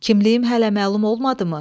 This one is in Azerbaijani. Kimliyim hələ məlum olmadımı?